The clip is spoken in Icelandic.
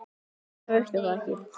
Þannig virkar það ekki.